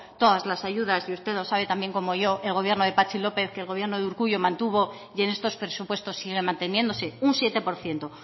todas las ayudas y usted lo sabe también como yo el gobierno de patxi lópez que el gobierno de urkullu mantuvo y en estos presupuestos siguen manteniéndose un siete por ciento